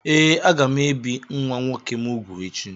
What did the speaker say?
Ee, aga m ebi nwa nwoke m úgwù echi